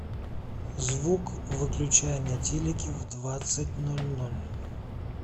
звук выключай на телике в двадцать ноль ноль